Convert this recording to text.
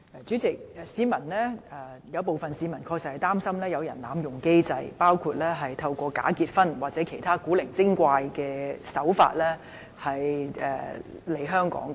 主席，有部分市民確實擔心有人濫用機制，包括透過假結婚或其他古怪的手法來港。